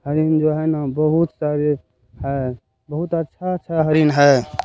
हरिन जो है ना बहुत सारे हैबहुत अच्छा-अच्छा हरिन है।